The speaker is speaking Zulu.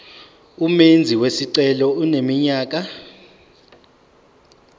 umenzi wesicelo eneminyaka